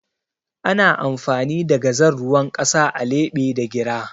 Ana amfani da gazal ruwan ƙasa a leɓe da gira